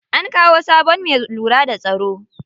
An kawo sabon me lura da tsaro.